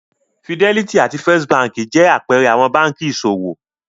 Fidelity àti First Báńkì jẹ́ àpẹẹrẹ àwọn báńkì ìṣòwò.